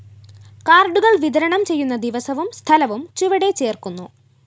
കാര്‍ഡുകള്‍ വിതരണം ചെയ്യുന്ന ദിവസവും സ്ഥലവും ചുവടെ ചേര്‍ക്കുന്നു